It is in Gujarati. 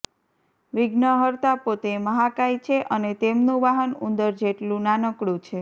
વિધ્નહર્તા પોતે મહાકાય છે અને તેમનું વાહન ઉંદર જેટલુ નાનકડુ છે